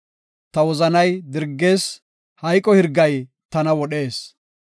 Ta wozanay dirgees; hayqo hirgay tana wodhees.